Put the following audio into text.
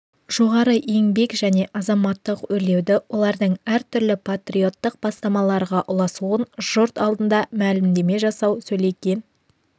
жоғары еңбек және азаматтық өрлеуді олардың әртүрлі патриоттық бастамаларға ұласуын жұрт алдында мәлімдеме жасау сөйленген